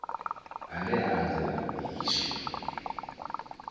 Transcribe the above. ane a anzela u iswa